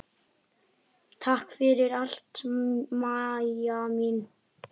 Takk fyrir allt, Maja mín.